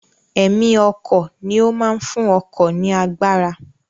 Ẹ̀mí ọkọ̀ ni ó máa ń fún ọkọ̀ ní agbára